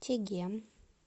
чегем